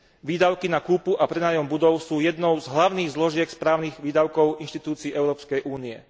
Výdavky na kúpu a prenájom budov sú jednou z hlavných zložiek správnych výdavkov inštitúcií Európskej únie.